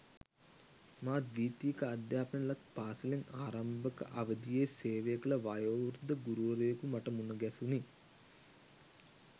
මා ද්වීතීක අධ්‍යාපනය ලත් පාසැලේ ආරම්භක අවදියේ සේවය කළ වයෝවෘද්ධ ගුරුවරයකු මට මුණ ගැසුණි.